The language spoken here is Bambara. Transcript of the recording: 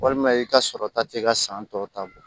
Walima i ka sɔrɔ ta t'e ka san tɔ ta bɔ